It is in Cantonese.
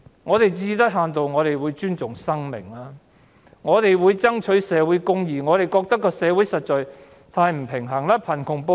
我們最低限度會尊重生命和爭取社會公義，我們認為社會實在太失衡。